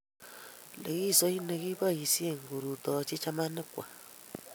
likisoit ne kiboishie korutoche chamanik kwak.